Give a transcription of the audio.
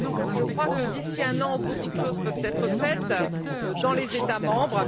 Je crois que, d'ici un an, beaucoup de choses pourront être faites dans les États membres.